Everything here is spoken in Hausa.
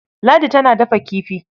Ladi tana dafa kifi.